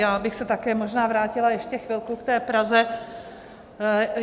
Já bych se také možná vrátila ještě chvilku k té Praze.